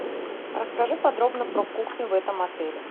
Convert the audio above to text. расскажи подробно про кухню в этом отеле